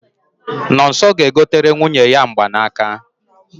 Nonso ga-egotere nwunye ya mgbanaka